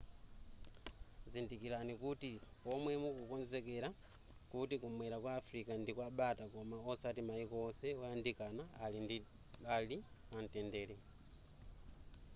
dzindikirani kuti pomwe mukukonzekera kuti kumwera kwa africa ndikwabata koma osati mayiko onse oyandikana ali pamtendere